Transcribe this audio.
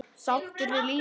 Sáttur við lífið.